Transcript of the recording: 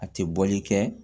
A tɛ bɔli kɛ